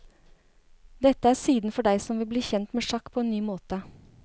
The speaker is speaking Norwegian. Dette er siden for deg som vil bli kjent med sjakk på en ny måte.